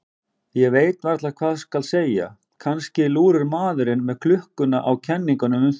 Ég veit varla hvað skal segja, kannski lúrir maðurinn með klukkuna á kenningum um það.